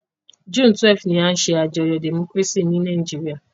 June 12 ni a n se àyájó democracy ni Naijiria